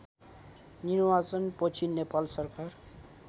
निर्वाचनपछि नेपाल सरकार